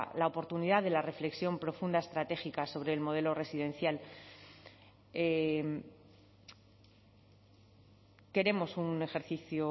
la oportunidad de la reflexión profunda estratégica sobre el modelo residencial queremos un ejercicio